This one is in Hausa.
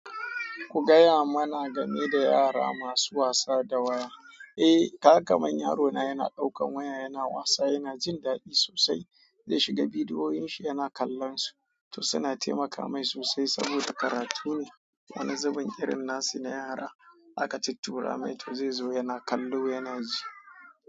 Ku gaya mana game da yara masu wasa da waya. Eh, kaga kaman yaro na yana ɗaukan waya yana wasa, yana jin daɗi sosai. Zai shiga bidiyoyinshi yana kallon su. To suna taimaka mai sosai saboda karatu ne. Wani zubin irin nasu na yara aka tuttura mai, to zai zo yana kallo yana ji.